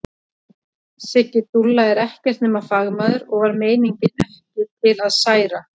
Siggi dúlla er ekkert nema fagmaður og var meiningin ekki til að særa.